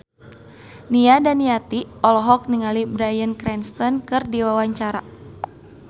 Nia Daniati olohok ningali Bryan Cranston keur diwawancara